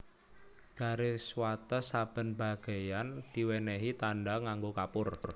Garis wates saben bageyan diwènèhi tandha nganggo kapur